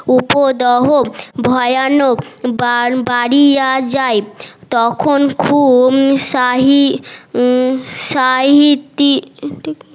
উপদহ ভয়ানক তখন খুব সাহি সাহিত্তি